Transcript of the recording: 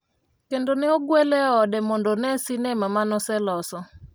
kendo ne ogwele e ode mondo one sinema mano oseloso